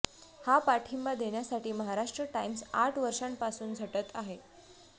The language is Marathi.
हा पाठिंबा देण्यासाठी महाराष्ट्र टाइम्स आठ वर्षांपासून झटत आहे